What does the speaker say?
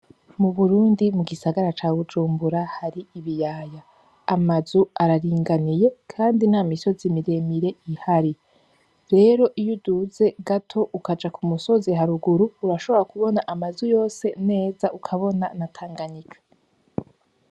Mu burundi mu gisagara ca bujumbura har'ibiyaya amazu araringaniye, kandi nta misozi miremire ihari rero iyo uduze gato ukaja ku musozi haruguru urashobora kubona amazu yose neza ukabona na tanganyika.